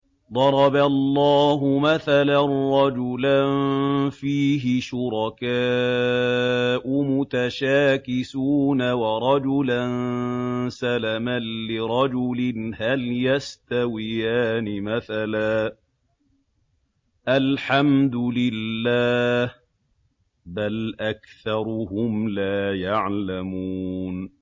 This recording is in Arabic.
ضَرَبَ اللَّهُ مَثَلًا رَّجُلًا فِيهِ شُرَكَاءُ مُتَشَاكِسُونَ وَرَجُلًا سَلَمًا لِّرَجُلٍ هَلْ يَسْتَوِيَانِ مَثَلًا ۚ الْحَمْدُ لِلَّهِ ۚ بَلْ أَكْثَرُهُمْ لَا يَعْلَمُونَ